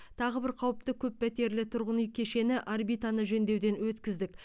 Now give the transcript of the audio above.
тағы бір қауіпті көппәтерлі тұрғын үй кешені орбитаны жөндеуден өткіздік